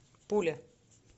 пуля